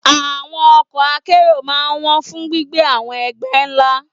Àwọn ọkọ̀ akẹ́rù máa ń wọ́n fún gbígbé àwọn ẹgbẹ́ ńlá.